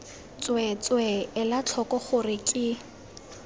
tsweetswee ela tlhoko gore ke